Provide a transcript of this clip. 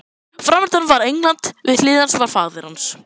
Framundan var England, við hlið hans faðir hans